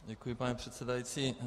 Děkuji, paní předsedající.